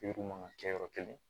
man ka kɛ yɔrɔ kelen